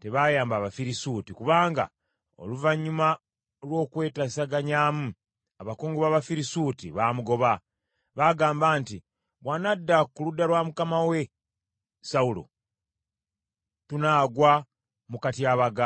tebayamba Abafirisuuti kubanga oluvannyuma lw’okwetesaganyaamu, abakungu b’Abafirisuuti baamugoba. Baagamba nti, “Bw’anadda ku ludda lwa mukama we Sawulo, tunaagwa mu katyabaga.”